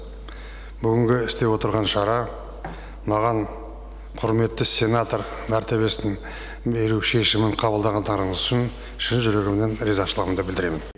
бүгінгі істеп отырған шара маған құрметті сенатор мәртебесін беру шешімін қабылдағандарыңыз үшін шын жүрегімнен ризашылығымды білдіремін